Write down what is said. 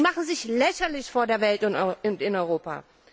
Sie machen sich lächerlich vor der Welt und in Europa.